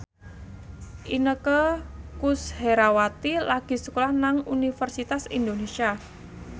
Inneke Koesherawati lagi sekolah nang Universitas Indonesia